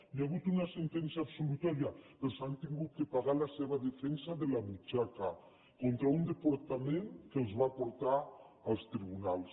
hi ha hagut una sentència absolutòria però s’han hagut de pagar la seva defensa de la butxaca contra un departament que els va portar als tribunals